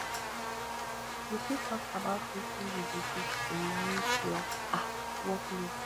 you fit talk about wetin you do to manage your um workload